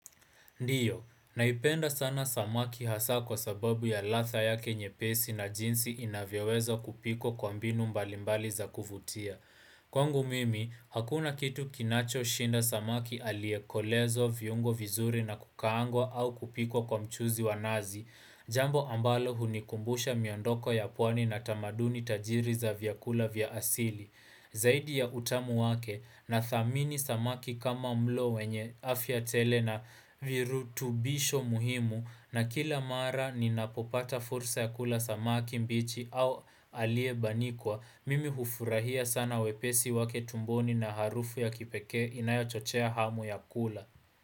Ndiyo, naipenda sana samaki hasa kwa sababu ya ladha yake nyepesi na jinsi inavyawezo kupikwa kwa mbinu mbalimbali za kuvutia. Kwangu mimi, hakuna kitu kinacho shinda samaki aliyekolezwa viungo vizuri na kukaangwa au kupikwa kwa mchuzi wanazi, jambo ambalo hunikumbusha miondoko ya pwani na tamaduni tajiri za vyakula vya asili. Zaidi ya utamu wake na thamini samaki kama mlo wenye afya tele na virutubisho muhimu na kila mara ni napopata fursa ya kula samaki mbichi au alie banikwa, mimi hufurahia sana wepesi wake tumboni na harufu ya kipekee inayo chochea hamu ya kula.